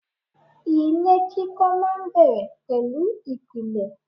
Ilé kíkọ́ máa ń bẹ̀rẹ̀ pẹ̀lú ìpìlẹ̀.